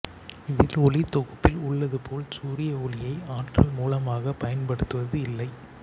இதில் ஒளித்தொகுப்பில் உள்ளதுபோல் சூரிய ஒளியை ஆற்றல் மூலமாகப் பயன்படுத்துவது இல்லை